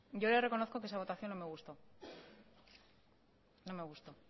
yo le reconozco que esa votación no me gustó no me gustó